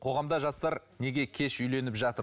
қоғамда жастар неге кеш үйленіп жатыр